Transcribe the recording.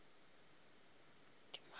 o be a fela a